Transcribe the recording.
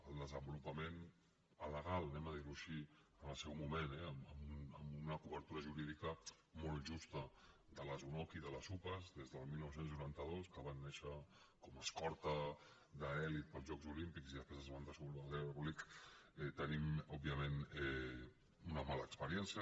el desenvolupament alegal anem a dir ho així en el seu moment eh amb una cobertura jurídica molt justa de les unoc i de les upas des del dinou noranta dos que van néixer com a escorta d’elit per als jocs olímpics i després es van desenvolupar en l’ordre públic tenim òbviament una mala experiència